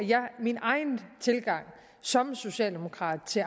min egen tilgang som socialdemokrat til